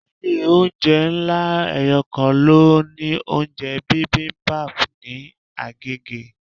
Ilé oúnjẹ ńlá eyokan ló ní oúnjẹ bibimbap ní Agege.